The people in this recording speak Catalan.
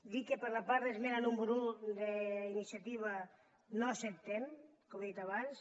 dir que per la part de l’esmena número un d’iniciativa no l’acceptem com he dit abans